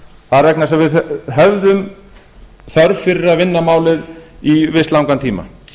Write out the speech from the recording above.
það er vegna þess að við höfðum þörf fyrir að vinna málið í visst langan tíma